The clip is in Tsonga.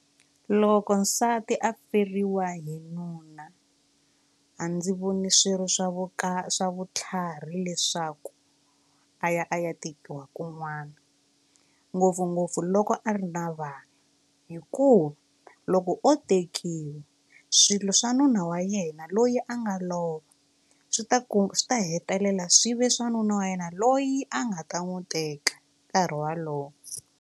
Loko nsati a feriwa hi nuna a ndzi voni swirho swa swa vutlhari leswaku a ya a ya tekiwa kun'wana ngopfungopfu loko a ri na vana hikuva loko o tekiwe swilo swa nuna wa yena loyi a nga lova swi ta ku swi ta hetelela swi ve swa nuna wa yena loyi a nga ta n'wi teka nkarhi walowo.